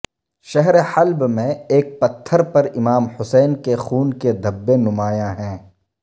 شہرحلب میں ایک پتھر پر امام حسین کے خون کے دھبے نمایاں ہیں